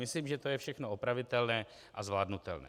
Myslím, že to je všechno opravitelné a zvládnutelné.